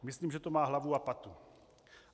Myslím, že to má hlavu a patu.